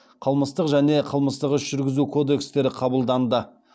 қылмыстық және қылмыстық іс жүргізу кодекстері қабылданды